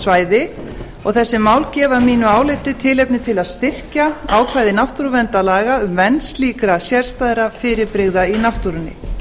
svæði og þessi mál gefa að mínu áliti tilefni til að styrkja ákvæði náttúruverndarlaga um vernd slíkra sérstæðra fyrirbrigða í náttúrunni